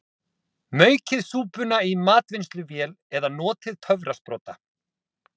Maukið súpuna í matvinnsluvél eða notið töfrasprota.